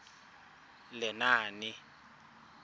lenaane